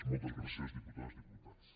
moltes gràcies diputades diputats